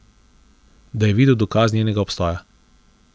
Da je videl dokaz njenega obstoja.